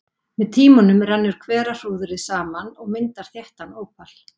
Með tímanum rennur hverahrúðrið saman og myndar þéttan ópal.